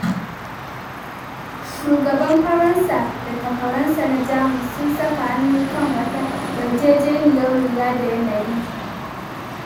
Shugaban Faransa da takwaransa na Jamus sun saka hannu kan wata yarjejeniyar lura da yanayi.